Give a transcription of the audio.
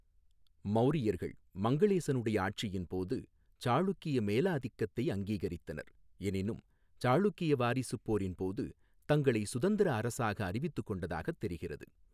மௌரியர்கள் மங்களேசனுடைய ஆட்சியின் போது சாளுக்கிய மேலாதிக்கத்தை அங்கீகரித்தனர், எனினும் சாளுக்கிய வாரிசுப் போரின் போது தங்களைச் சுதந்திர அரசாக அறிவித்துக் கொண்டதாகத் தெரிகிறது.